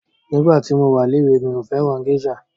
Nígbà tí mo wa léwe mí ò fẹ́ràn gésà.